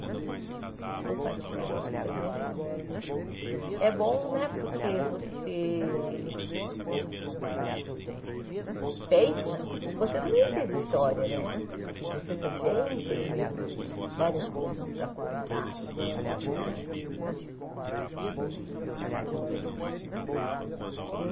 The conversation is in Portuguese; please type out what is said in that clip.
E compartilhar isso também é bom né, porque você pensa que você também teve históriané, que você também tem várias coisas para contar né e e eu.